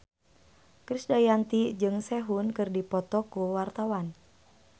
Krisdayanti jeung Sehun keur dipoto ku wartawan